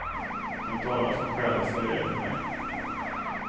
De talar som själasörjare till mig.